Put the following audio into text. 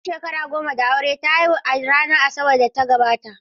Bayan shekara goma da aure ta haihu a ranar Asabar da ta gabata.